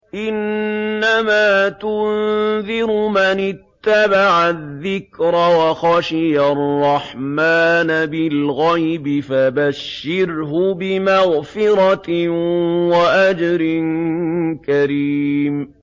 إِنَّمَا تُنذِرُ مَنِ اتَّبَعَ الذِّكْرَ وَخَشِيَ الرَّحْمَٰنَ بِالْغَيْبِ ۖ فَبَشِّرْهُ بِمَغْفِرَةٍ وَأَجْرٍ كَرِيمٍ